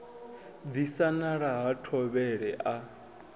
disa nala ha thovhele a